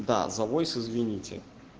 да за войс извините